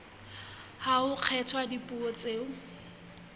ha ho kgethwa dipuo tseo